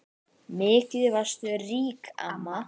Mikið varstu rík amma.